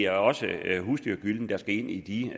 at også husdyrgyllen skal ind i